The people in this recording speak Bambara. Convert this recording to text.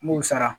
N b'u sara